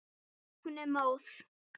Hún er móð.